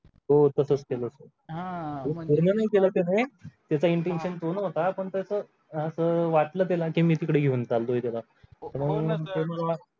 हो तसंच केलं होतं हा पूर्ण नाही केलं त्याने त्याचा intuition तो नव्हता पण त्याचं असं वाटलं त्याला की मी तिकडे घेऊन चाललोय त्याला म्हणून हो sir